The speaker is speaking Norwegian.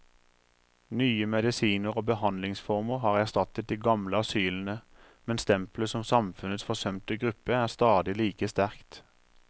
Nye medisiner og behandlingsformer har erstattet de gamle asylene, men stempelet som samfunnets forsømte gruppe er stadig like sterkt.